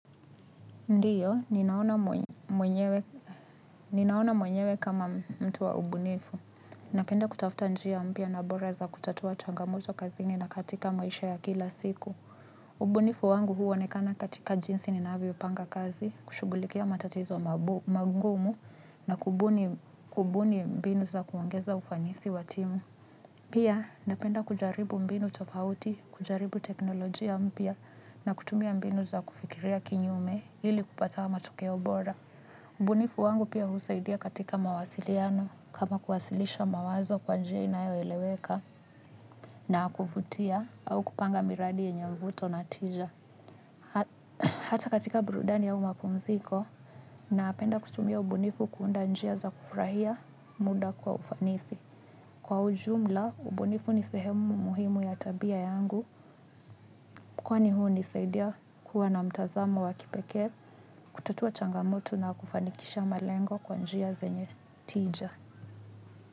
Ndiyo, ninaona mwenyewe kama mtu wa ubunifu. Napenda kutafuta njia mpya na bora za kutatua changamoto kazini na katika maisha ya kila siku. Ubunifu wangu huonekana katika jinsi ninavyopanga kazi kushugulikia matatizo magumu na kubuni mbinu za kuogeza ufanisi wa timu. Pia napenda kujaribu mbinu tofauti, kujaribu teknolojia mpya na kutumia mbinu za kufikiria kinyume ili kupata wa matokeo bora. Ubunifu wangu pia husaidia katika mawasiliano kama kuwasilisha mawazo kwa njia inayoeleweka na kuvutia au kupanga miradi yenye mvuto na tija. Hata katika burudani au mapumziko napenda kutumia ubunifu kuunda njia za kufurahia muda kwa ufanisi. Kwa ujumla, ubunifu ni sehemu muhimu ya tabia yangu, kwani hunisaidia kuwa na mtazamo wa kipekee, kutatua changamoto na kufanikisha malengo kwa njia zenye tija.